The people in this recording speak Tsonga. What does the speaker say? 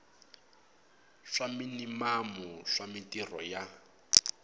swa minimamu swa mintirho ya